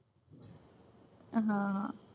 હમ